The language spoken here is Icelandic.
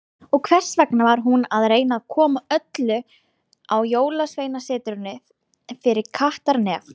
Og hvers vegna var hún að reyna að koma öllum á Jólasveinasetrinu fyrir kattarnef.